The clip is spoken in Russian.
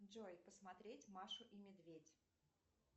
джой посмотреть машу и медведь